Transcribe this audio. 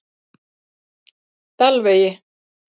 Dalvegi